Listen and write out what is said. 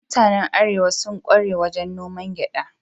Mutanen Arewa sun kware wajen noman gyada.